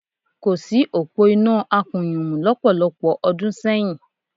Kò sí òpó iná akùnyùmù lọ́pọ̀lọpọ̀ ọdún sẹ́yìn